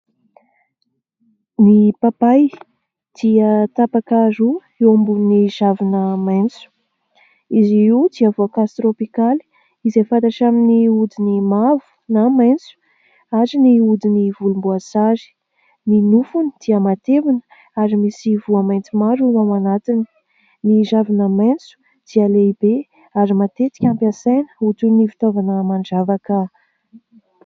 Ny papay dia tapaka roa eo ambonin'ny ravina maitso. Izy io dia voankazo tropikaly izay fantatra amin'ny hodiny mavo na maitso ary ny hodiny volomboasary. Ny nofony dia matevina ary misy voa maitso maro ao anatiny. Ny ravina maitso dia lehibe ary matetika hampiasaina ho toy ny fitaovana mandravaka.